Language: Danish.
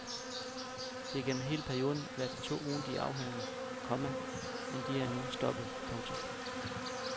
De har gennem hele perioden været til to ugentlige afhøringer, komma men de er nu stoppet. punktum